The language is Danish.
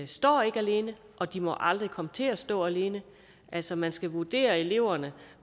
står ikke alene og de må aldrig komme til at stå alene altså man skal vurdere eleverne